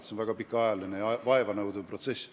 See on väga pikaajaline ja vaevanõudev protsess.